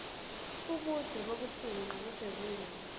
ubude bokufingqa kusezingeni